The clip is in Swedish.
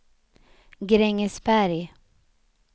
Grängesberg